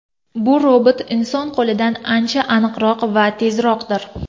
Bu robot inson qo‘lidan ancha aniqroq va tezroqdir.